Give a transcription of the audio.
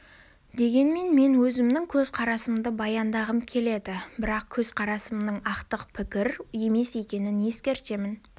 дегенмен мен өзімнің көзқарасымды баяндағым келеді бірақ көзқарасымның ақтық пікір емес екенін ескертемін